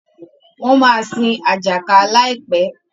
wón má sin Ajaka láìpé.